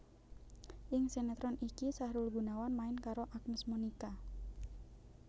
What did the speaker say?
Ing sinetron iki Sahrul Gunawan main karo Agnes Monica